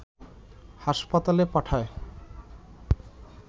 হাসপাতালে পাঠায়